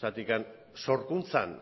zergatik sorkuntzan